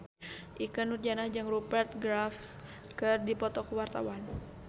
Ikke Nurjanah jeung Rupert Graves keur dipoto ku wartawan